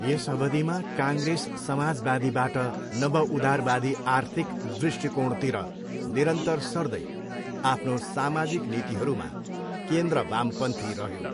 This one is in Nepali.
यस अवधिमा काङ्ग्रेस समाजवादीबाट नवउदारवादी आर्थिक दृष्टिकोणतिर निरन्तर सर्दै आफ्नो सामाजिक नीतिहरूमा केन्द्र वामपन्थी रह्यो।